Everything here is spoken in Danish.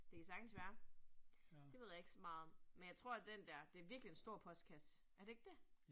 Det kan sagtens være, det ved jeg ikke så meget om. Men jeg tror, at den dér, det virkelig en stor postkasse, er det ikke det?